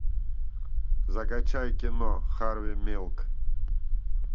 закачай кино харви милк